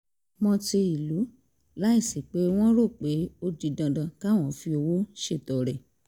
mọ́ ti ìlú láìsí pé wọ́n rò pé ó di dandan káwọn fi owó ṣètọrẹ